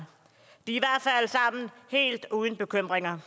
helt uden bekymringer